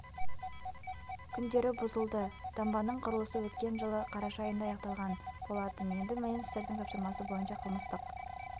күндері бұзылды дамбаның құрылысы өткен жылы қараша айында аяқталған болатын енді министрдің тапсырмасы бойынша қылмыстық